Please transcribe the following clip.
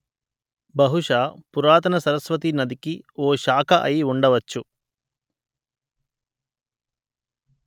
బహుశా పురాతన సరస్వతీ నదికి ఓ శాఖ అయి ఉండవచ్చు